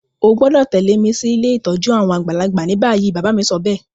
O gbọ́dọ̀ tẹ̀lẹ́ mi si ilé ìtójú àwon àgbàlagbà ni bayi. Bàbá mi sobéè